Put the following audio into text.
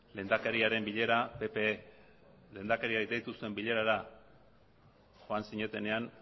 lehendakariaren bilera pp lehendakariak deitu zuen bilerara joan zinetenean